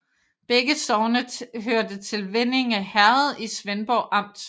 Begge sogne hørte til Vindinge Herred i Svendborg Amt